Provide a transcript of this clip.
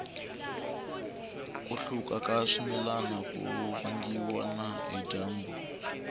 ku hluka ka swimilana ku vangiwa na hi dyambu